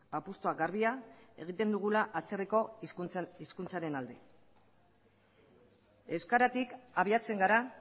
apustua garbia egiten dugula atzerriko hizkuntzaren alde euskaratik abiatzen gara